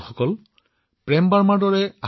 আপুনি এক প্ৰকাৰে প্ৰেমৰ গংগা বোৱাই আছে